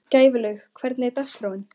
Gæflaug, hvernig er dagskráin?